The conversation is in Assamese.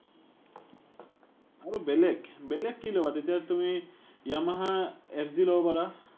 আৰু বেলেগ? বেলেগ কি ল’বা? তেতিয়া তুমি Yamaha FZ ল’ব পাৰা।